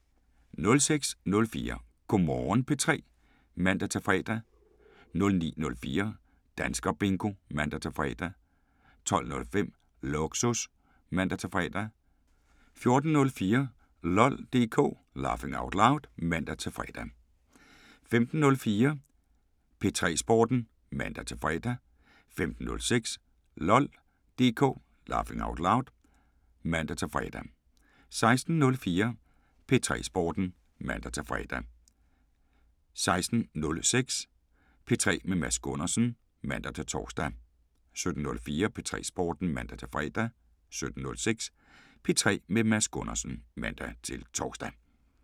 06:04: Go' Morgen P3 (man-fre) 09:04: Danskerbingo (man-fre) 12:05: Lågsus (man-fre) 14:04: LOL DK (man-fre) 15:04: P3 Sporten (man-fre) 15:06: LOL DK (man-fre) 16:04: P3 Sporten (man-fre) 16:06: P3 med Mads Gundersen (man-tor) 17:04: P3 Sporten (man-fre) 17:06: P3 med Mads Gundersen (man-tor)